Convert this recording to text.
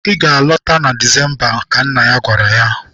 Ị ga-alọta na Disemba! Ka nna ya gwara ya.